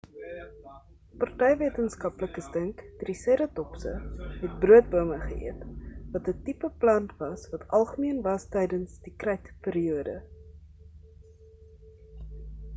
party wetenskaplikes dink triseratopse het broodbome geëet wat 'n tipe plant was wat algemeen was tydens die krytperiode